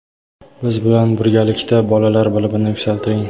biz bilan birgalikda bolalar bilimini yuksaltiring.